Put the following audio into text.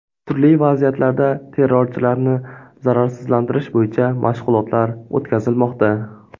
Turli vaziyatlarda terrorchilarni zararsizlantirish bo‘yicha mashg‘ulotlar o‘tkazilmoqda.